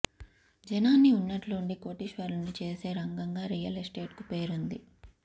జనాన్ని ఉన్నట్లుండి కోటీశ్వరుల్ని చేసే రంగంగా రియల్ ఎస్టేట్ కు పేరుంది